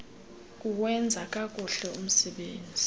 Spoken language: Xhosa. kuwenza kakuhle umsebenzi